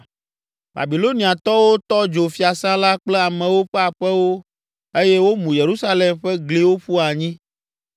Babiloniatɔwo tɔ dzo fiasã la kple amewo ƒe aƒewo eye womu Yerusalem ƒe gliwo ƒu anyi.